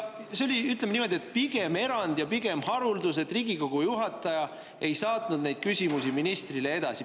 See oli, ütleme niimoodi, pigem erand ja haruldus, kui Riigikogu juhataja ei saatnud neid küsimusi ministrile edasi.